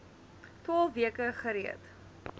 twaalf weke gereed